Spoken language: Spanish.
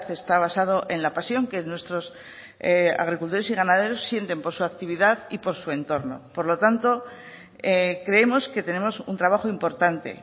está basado en la pasión que nuestros agricultores y ganaderos sienten por su actividad y por su entorno por lo tanto creemos que tenemos un trabajo importante